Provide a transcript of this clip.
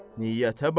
Niyyətə bax!